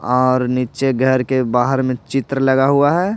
और नीचे घर के बाहर में चित्र लगा हुआ है।